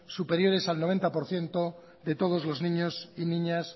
superiores al noventa por ciento de todos los niños y niñas